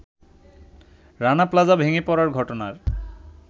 Rana Plaza ভেঙে পড়ার ঘটনার